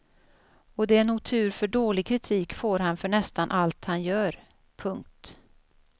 Och det är nog tur för dålig kritik får han för nästan allt han gör. punkt